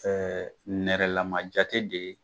Ɛɛ nɛrɛlama jate de ye